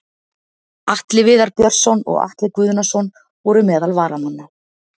Atli Viðar Björnsson og Atli Guðnason voru meðal varamanna.